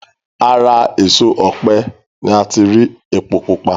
Ara èso ọ̀pẹ ni ati rí epo pupa